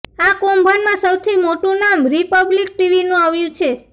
આ કૌભાંડમાં સૌથી મોટું નામ રિપબ્લિક ટીવીનું આવ્યું છે